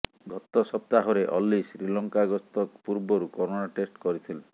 ଗତ ସପ୍ତାହରେ ଅଲ୍ଲୀ ଶ୍ରୀଲଙ୍କା ଗସ୍ତ ପୂର୍ବରୁ କରୋନା ଟେଷ୍ଟ କରିଥିଲେ